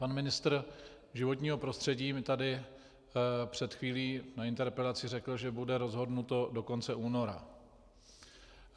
Pan ministr životního prostředí mi tady před chvílí na interpelaci řekl, že bude rozhodnuto do konce února.